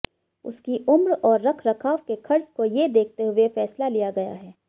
उसकी उम्र और रख रखाव के खर्च को ये देखते हुए फैसला लिया गया है